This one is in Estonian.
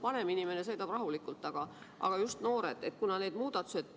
Vanem inimene sõidab rahulikult, aga just noored.